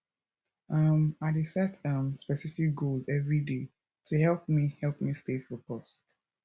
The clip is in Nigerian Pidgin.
um i dey set um specific goals everyday to help me help me stay focused